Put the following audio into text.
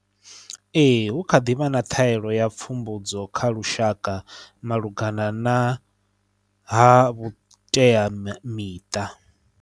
Ee hu kha ḓivha na ṱhaelo ya pfumbudzo kha lushaka malugana na ha vhuteamiṱa.